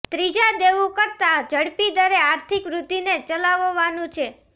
ત્રીજા દેવું કરતાં ઝડપી દરે આર્થિક વૃદ્ધિને ચલાવવાનું છે